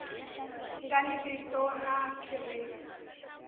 nga ni vito na kherefu